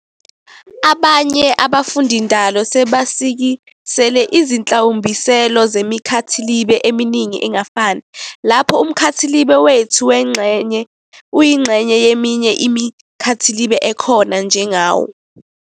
Abanye abafundindalo sebasikisele ízihlawumbiselo zemikhathilibe eminingi engafani, lapho umkhathilibe wethu uyingxenye yeminye imikhathilibe ekhona njengawo.